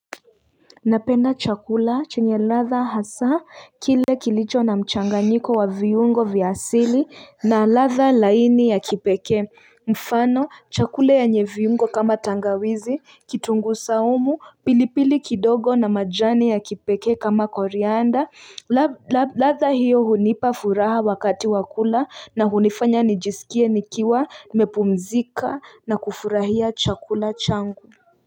Napenda chakula chenye ladha hasa kile kilicho na mchanganyiko wa viyungo vya asili na ladha laini ya kipekee mfano chakula yenye viungo kama tangawizi, kitungu saumu, pilipili kidogo na majani ya kipeke kama korianda ladha hiyo hunipa furaha wakati wakula na hunifanya nijisikie nikiwa nimepumzika na kufurahia chakula changu.